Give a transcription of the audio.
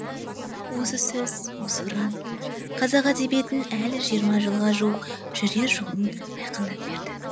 осы сөз осы ұран қазақ әдебиетінің әлі жиырма жылға жуық жүрер жолын айқындап берді